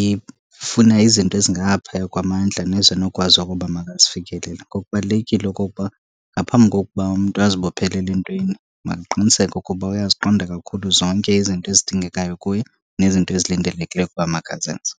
ifuna izinto ezingaphaya kwamandla nezinokwazi okoba makazifikelele. Ngoku kubalulekile okokuba ngaphambi kokuba umntu azibophelele entweni makaqiniseke ukuba uyaziqonda kakhulu zonke izinto ezidingekayo kuye nezinto ezilindelekileyo ukuba makazenze.